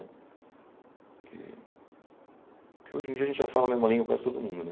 Porque porque hoje em dia a gente já fala a mesma língua com quase todo mundo, né?